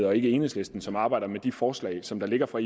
og ikke enhedslisten som arbejder med de forslag som der ligger fra